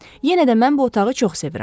Yenə də mən bu otağı çox sevirəm.